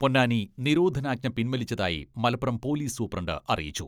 പൊന്നാനി നിരോധനാജ്ഞ പിൻവലിച്ചതായി Malappuram police superintendent അറിയിച്ചു.